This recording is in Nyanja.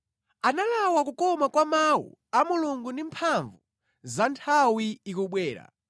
Analawa kukoma kwa mawu a Mulungu ndi mphamvu za nthawi ikubwera.